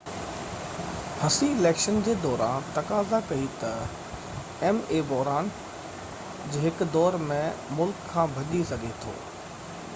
هسي election جي دوران تقاضا ڪئي ته ايم اي بحران جي هڪ دور ۾ ملڪ کان ڀڄي سگهي ٿو